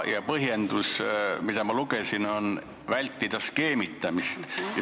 Põhjendus, mida ma lugesin, oli see, et vältida skeemitamist.